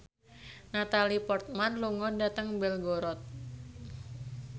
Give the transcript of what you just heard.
Natalie Portman lunga dhateng Belgorod